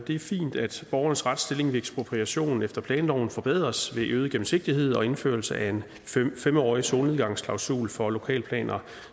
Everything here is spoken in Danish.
er fint at borgernes retsstilling ved ekspropriation efter planloven forbedres ved øget gennemsigtighed og indførelse af en fem årig solnedgangsklausul for lokalplaner